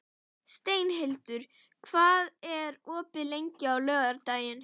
Steinhildur, hvað er opið lengi á laugardaginn?